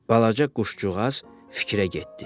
Balaca quşcuğaz fikrə getdi.